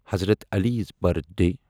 حضرت عالیٖز برتھڈے